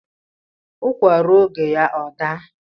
Ukwa ruo oge ya ọ daa